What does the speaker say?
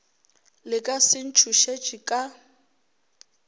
le ka se ntšhošetše ka